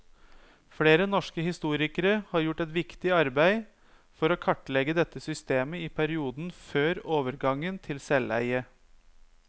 Flere norske historikere har gjort et viktig arbeid for å kartlegge dette systemet i perioden før overgangen til selveie.